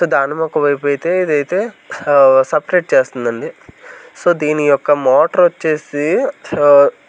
ధాన్యం ఒక వైపు అయితే ఇది అయితే ఆహ్ సపరేట్ చేస్తుదండి సొ దిని యొక్క మోటార్ వచ్చేసి ఆ.